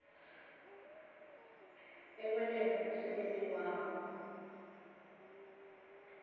ekwenteni umsebenti wabo